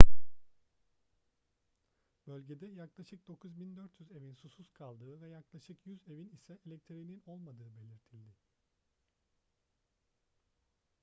bölgede yaklaşık 9400 evin susuz kaldığı ve yaklaşık 100 evin ise elektriğinin olmadığı belirtildi